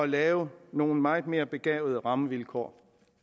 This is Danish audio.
lave nogle meget mere begavede rammevilkår